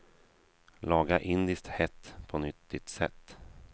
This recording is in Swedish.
Laga indiskt hett på nyttigt sätt.